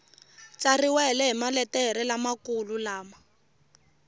tsariwile hi maletere lamakulu lama